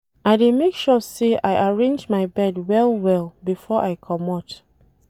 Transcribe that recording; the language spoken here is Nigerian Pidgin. I dey make sure sey I arrange my bed well-well before I comot.